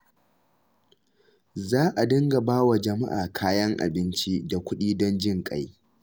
Za a dinga ba wa jama'a kayan abinci da kuɗi don jin ƙai.